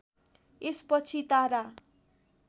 यसपछि तारा